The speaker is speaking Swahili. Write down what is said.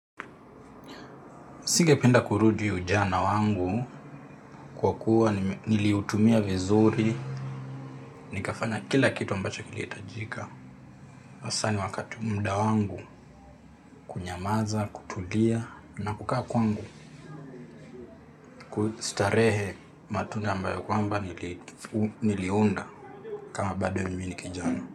Singependa kurudi ujana wangu kwa kuwa niliutumia vizuri, nikafanya kila kitu ambacho kilihitajika. Hasa ni wakati muda wangu kunyamaza, kutulia na kukaa kwangu kustarehe matunda ambayo kwamba niliunda kama bado mimi ni kijana.